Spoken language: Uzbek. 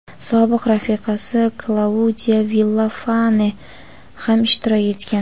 sobiq rafiqasi Klaudiya Villafane ham ishtirok etgan.